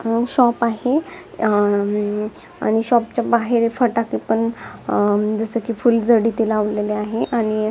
तो शॉप आहे अं आणि शॉप च्या बाहेर फटाके पण अं जस की फुलझडी ते लावलेल आहे आणि --